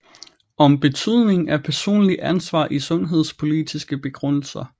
Om betydningen af personligt ansvar i sundhedspolitiske begrundelser